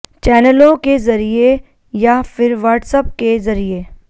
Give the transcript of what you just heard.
चैनलों के ज़रिये या फिर व्हाट्सऐप के ज़रिये